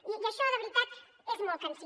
i això de veritat és molt cansí